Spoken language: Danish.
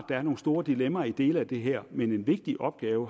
der er nogle store dilemmaer i dele af det her men en vigtig opgave